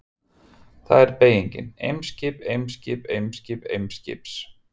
Þar er beygingin: Eimskip, Eimskip, Eimskip, Eimskips.